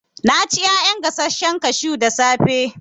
Na ci ƴaƴan gasashen kashu da safe